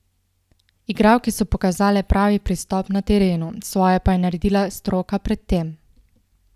Igralke so pokazale pravi pristop na terenu, svoje pa je naredila stroka pred tem.